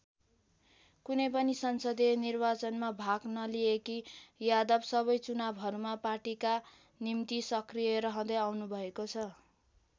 कुनै पनि संसदीय निर्वाचनमा भाग नलिएकी यादव सबै चुनावहरूमा पार्टीका निम्ति सक्रिय रहँदै आउनुभएको छ।